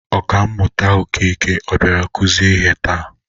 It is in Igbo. Oka mmụta Okeke ọ bịara kuzie ihe taa?